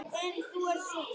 Dug hættir.